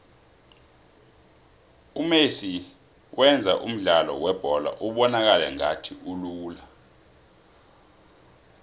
umesi wenza umdlalo webholo ubonakale ngathi ulula